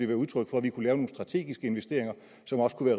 være udtryk for at vi kunne lave nogle strategiske investeringer som også kunne